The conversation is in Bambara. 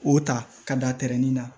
O ta ka da tɛrɛnin na